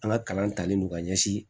An ka kalan talen non ka ɲɛsin